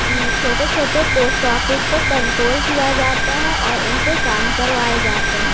उन छोटे-छोटे post office को कंट्रोल किया जाता है और उनसे काम करवाए जाते हैं।